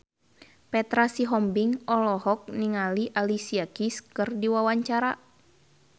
Petra Sihombing olohok ningali Alicia Keys keur diwawancara